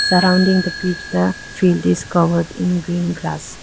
surrounding the pitch the field is covered in green grass.